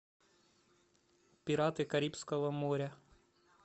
пираты карибского моря